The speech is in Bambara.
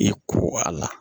I ko a la